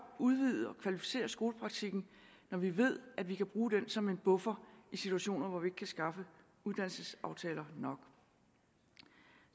udvide og kvalificere skolepraktikken når vi ved at vi kan bruge den som en buffer i situationer hvor vi ikke kan skaffe uddannelsesaftaler nok